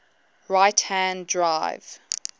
right hand drive